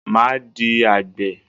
Máa di àgbè.